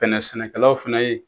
Bɛnɛ sɛnɛkɛlaw fana ye.